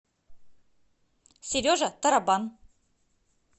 сережа тарабан